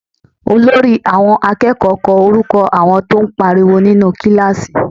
Olórí àwọn akẹ́kọ̀ọ́ kọ orúkọ àwọn tó ń pariwo nínú kíláàsì